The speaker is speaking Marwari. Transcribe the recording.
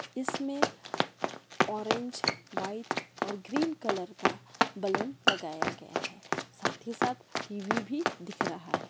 इसमें ऑरेंज व्हाइट और ग्रीन कलर का बलून लगाया गया है साथ ही साथ टी.वी. भी दिख रहा है।